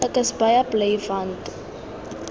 ek is baie bly want